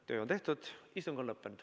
Töö on tehtud, istung on lõppenud.